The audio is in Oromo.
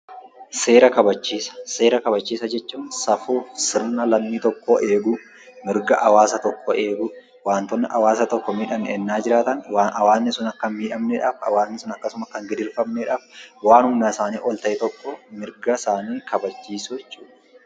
Seera kabachiisa: seera kabachiisa jechuun safuu fi sirna lammii tokkoo eeguu, mirga hawaasa tokkoo eeguu, waantotni haawasa tokko miidhan yennaa jiraatan waan hawaasni sun akka hin miidhamneedhaaf, hawaasni sun akka hin gidirfamneedhaaf, waan humna isaanii ol ta'e tokko mirga isaanii kabachiisuu jechuudha.